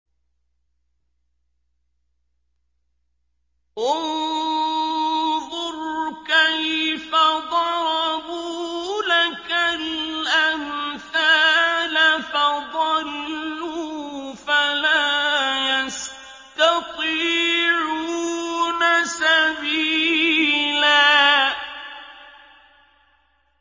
انظُرْ كَيْفَ ضَرَبُوا لَكَ الْأَمْثَالَ فَضَلُّوا فَلَا يَسْتَطِيعُونَ سَبِيلًا